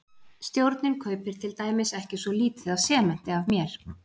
Stjórnin kaupir til dæmis ekki svo lítið af sementi af mér.